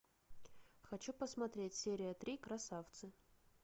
хочу посмотреть серия три красавцы